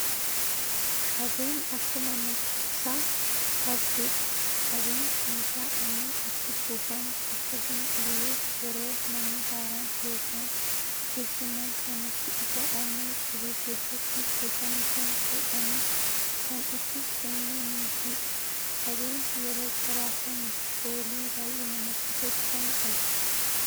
Qabeen akkuma maqaa isaa qabduudha. Qabeen meeshaa aannan itti kuufamu akkasuma illee yeroo namni haaraan yookaan keessummaan namatti dhufu aannan qabee keessatti kuufame sana fuudhanii kan itti kennaniifidha. Qabeen yeroo qoraafame foolii baayyee namatti tolu kan qabudha.